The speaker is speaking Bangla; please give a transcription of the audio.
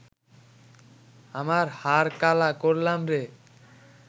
আমার হার কালা করলাম রে